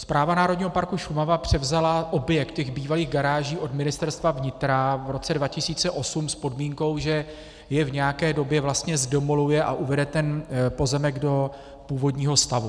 Správa Národní parku Šumava převzala objekt těch bývalých garáží od Ministerstva vnitra v roce 2008 s podmínkou, že je v nějaké době vlastně zdemoluje a uvede ten pozemek do původního stavu.